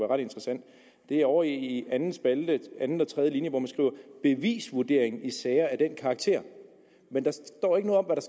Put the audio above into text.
ret interessant det er ovre i anden spalte i anden og tredje linje hvor man skriver bevisvurderingen i sager af den karakter men der står ikke noget om hvad